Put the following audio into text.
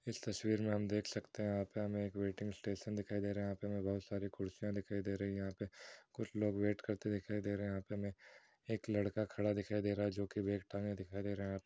इस तस्वीर मे हम देख सकते है यहां पे हमे एक वेटिंग स्टेशन दिखाई दे रहा है यहां पे हमें बहुत सारी कुर्सियां दिखाई दे रही है यहां पे कुछ लोग वेट करते दिखाई दे रहे है यहां पे हमे एक लड़का खड़ा दिखाई दे रहा है जो कि बैग टांगे दिखाई दे रहा है यहां पर --